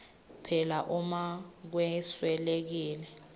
phela uma kweswelekile